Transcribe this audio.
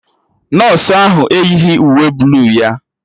Nọsụ ahụ eyighi uwe bluu ya